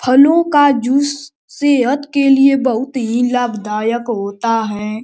फलों का जूस सेहत के लिए बहुत ही लाभदायक होता है।